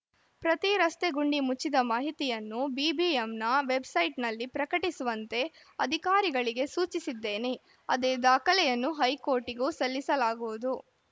ಪ್ರತಿ ರಸ್ತೆಗುಂಡಿ ಮುಚ್ಚಿದ ಮಾಹಿತಿಯನ್ನು ಬಿಬಿಎಂನ ವೆಬ್‌ಸೈಟ್‌ನಲ್ಲಿ ಪ್ರಕಟಿಸುವಂತೆ ಅಧಿಕಾರಿಗಳಿಗೆ ಸೂಚಿಸಿದ್ದೇನೆ ಅದೇ ದಾಖಲೆಯನ್ನು ಹೈಕೋರ್ಟ್‌ಗೂ ಸಲ್ಲಿಸಲಾಗುವುದು